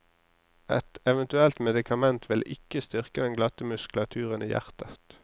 Et eventuelt medikament vil ikke styrke den glatte muskulaturen i hjertet.